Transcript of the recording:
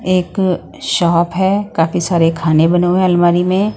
एक शॉप हैं काफी सारे खाने बने हुए अलमारी में।